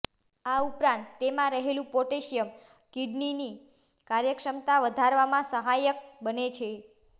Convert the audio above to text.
આ ઉપરાંત તેમાં રહેલું પોટેશિયમ કિડનીની કાર્યક્ષમતા વધારવામાં સહાયક બને છે